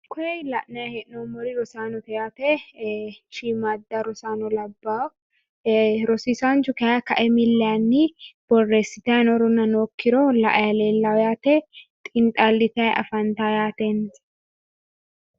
koye la'nanni hee'nnoniri rosaanote yaate shiimmaadda rosaano labbanno yaate rosiisaanchu kayiinni borreesitanni noorona nookkiro mili yaanni la'anni no yaate.